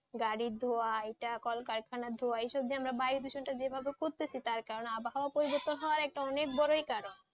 গাড়ির ধোঁয়া এটা কলকারখানার ধোঁয়া এসব দিয়ে আমরা বায়ুদূষণ টা যেভাবে করতেছি তার কারণে আবহাওয়া পরিবর্তন হওয়ার একটা অনেক বড়ই কারন,